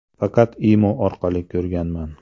Faqat Imo orqali ko‘rganman.